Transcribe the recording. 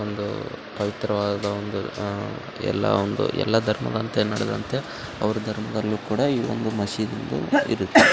ಒಂದು ಪವಿತ್ರವಾದ ಒಂದು ಆಹ್ಹ್ ಎಲ್ಲ ಒಂದು ಎಲ್ಲ ಧರ್ಮದಂತೆ ನಡ್ದೋತೆ ಅವ್ರ ಧರ್ಮದಲ್ಲಿ ಕೂಡ ಈವೊಂದು ಮಷೀದಿದು ಇರುತ್ತೆ .